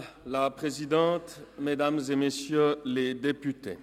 le Conseiller d’Etat Pierre Alain Schnegg.